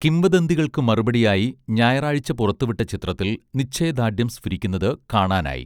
കിംവദന്തികൾക്കു മറുപടിയായി ഞായറാഴ്ച പുറത്തുവിട്ട ചിത്രത്തിൽ നിശ്ചയദാർഢ്യം സ്ഫുരിക്കുന്നത് കാണാനായി